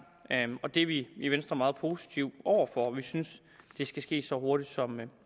og det er vi i venstre meget positive over for vi synes det skal ske så hurtigt som